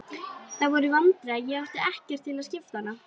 Það voru vandræði að ég átti ekkert til skiptanna.